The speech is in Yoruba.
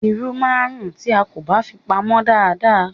Irú máa ń rún tí a kò bá fi pamô dada.